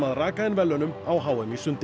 rakar inn verðlaunum á h m í sundi